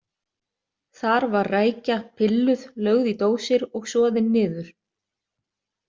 Þar var rækja pilluð, lögð í dósir og soðin niður.